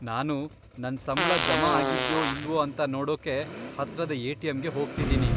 ನಾನು ನನ್ ಸಂಬ್ಳ ಜಮಾ ಆಗಿದ್ಯೋ ಇಲ್ವೋ ಅಂತ ನೋಡೋಕೆ ಹತ್ರದ ಎ.ಟಿ.ಎಮ್.ಗೆ ಹೋಗ್ತಿದ್ದೀನಿ.